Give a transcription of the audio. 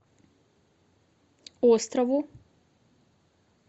острову